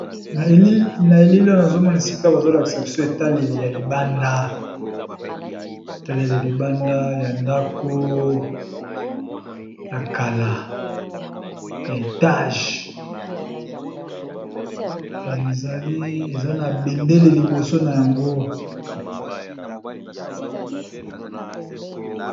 Nazomona esika bazotonga ndako ya etage ,na ba langi mingi ya kitoko.